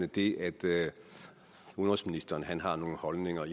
det at udenrigsministeren har nogle holdninger